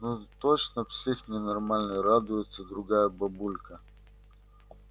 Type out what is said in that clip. ну точно псих ненормальный радуется другая бабулька